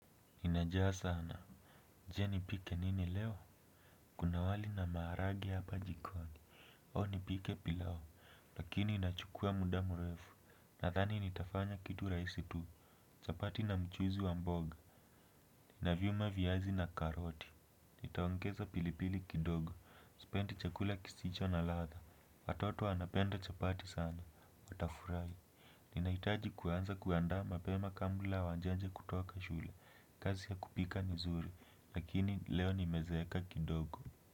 Nina njaa sana. Je nipike nini leo? Kuna wali na maharage hapa jikoni. Au nipike pilao. Lakini inachukua muda murefu. Nathani nitafanya kitu raisi tu. Chapati na mchuzi wa mboga. Ninaviuma viyazi na karoti. Nitaongeza pilipili kidogo. Spendi chakula kisicho na ladha. Watoto wanapenda chapati sana. Nitafurai. Ninahitaji kuanza kuanda mapema kabla wanjaje kutoka shule. Kazi ya kupika ni zuri. Lakini leo ni mezeeka kidogo.